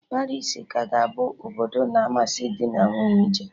Paris ka ga-abụ obodo na amasị dị na nwunye ije